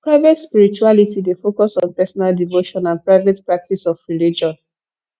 private spirituality dey focus on personal devotion and private practice of religion